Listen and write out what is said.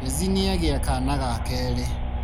Kezzy nĩagĩa kana gakerĩ.